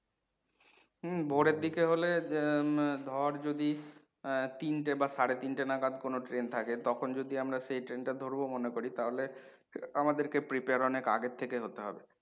হম ভোরের দিকে হলে আহ ধর যদি আহ তিনটে বা সাড়ে তিনটে নাগাদ কোনো ট্রেন থাকে তখন যদি আমরা সেই ট্রেন টা ধরব মনে করি তাহলে আমাদেরকে prepare অনেক আগে থেকে হতে হবে।